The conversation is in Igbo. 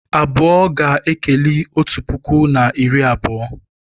Abụọ ga-ekeli otu puku na iri abụọ